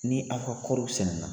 Ni a ka kɔriw sɛnɛ na